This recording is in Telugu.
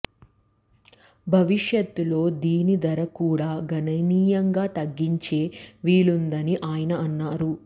భవిష్యత్తులో దీని ధర కూడా గణనీయంగా తగ్గించే వీలుందని ఆయన అన్నారు